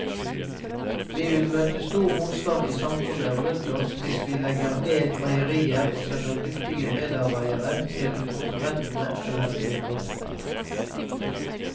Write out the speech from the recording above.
Vi vil møte stor motstand i samfunnet rundt oss hvis vi legger ned meierier og sender dyktige medarbeidere til konkurrentene eller til arbeidskontoret.